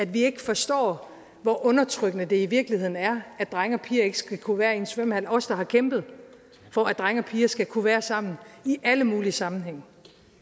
vi ikke forstår hvor undertrykkende det i virkeligheden er at drenge og piger ikke skal kunne være i en svømmehal sammen os der har kæmpet for at drenge og piger skal kunne være sammen i alle mulige sammenhænge